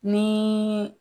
Ni.